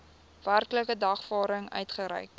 werklike dagvaarding uitgereik